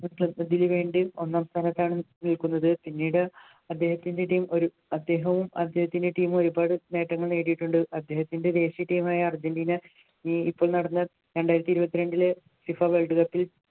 വേണ്ടി ഒന്നാം സ്ഥാനത്താണ് നിൽക്കുന്നത് പിന്നീട് അദ്ദേഹത്തിൻ്റെ team ഒരു അദ്ദേഹവും അദ്ദേഹത്തിൻ്റെ team ഉം ഒരുപാട് നേട്ടങ്ങൾ നേടിയിട്ടുണ്ട് അദ്ദേഹത്തിൻ്റെ ദേശീയ team മായ അർജൻറ്റീന ഇപ്പോൾ നടന്ന രണ്ടായിരത്തി ഇരുപത്തിരണ്ടിലെ FIFA world cup ൽ